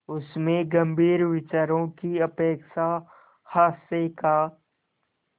उसमें गंभीर विचारों की अपेक्षा हास्य का